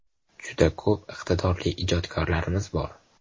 Juda ko‘p iqtidorli ijodkorlarimiz bor.